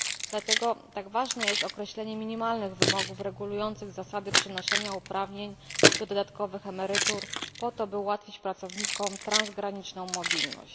Dlatego tak ważne jest określenie minimalnych wymogów regulujących zasady przenoszenia uprawnień do dodatkowych emerytur po to, by ułatwić pracownikom transgraniczną mobilność.